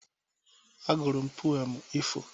A gụrụ m pụem ifo.